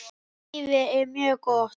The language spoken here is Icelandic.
Lífið er mjög gott.